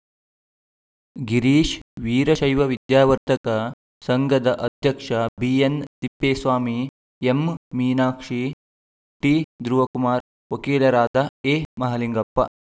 ಗಿರೀಶ ವೀರಶೈವ ವಿದ್ಯಾವರ್ಧಕ ಸಂಘದ ಅಧ್ಯಕ್ಷ BN Thippeswamy M Meenakshi T Dhruvakumar ವಕೀಲರಾದ ಎ ಮಹಾಲಿಂಗಪ್ಪ